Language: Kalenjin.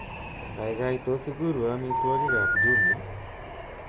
Kaikai tos ikurwo amitwogikab Jumia